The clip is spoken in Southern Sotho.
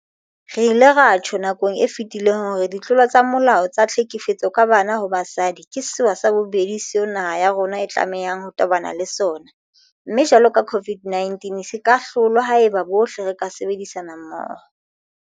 Re ile ra tjho nakong e fetileng hore ditlolo tsa molao tsa tlhekefetso ka banna ho basadi ke sewa sa bobedi seo naha ya rona e tlamehang ho tobana le sona, mme jwalo ka COVID-19 se ka hlolwa haeba bohle re ka sebedisana mmoho.